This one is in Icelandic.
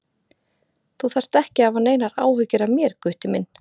Þú þarft ekki að hafa neinar áhyggjur af mér, Gutti minn.